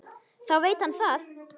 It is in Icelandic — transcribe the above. Þá veit hann það!